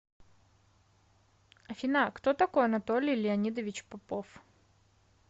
афина кто такой анатолий леонидович попов